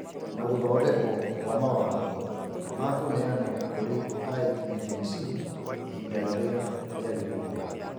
Na gũthondekwo kwa mawatho ma kũneanwo kũrĩ IEBC ihinda rĩrĩa rĩagĩrĩire.